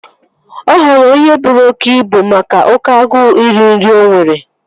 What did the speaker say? Ọ ghọrọ onye buru oké ibu make oké agụụ iri nri o nwere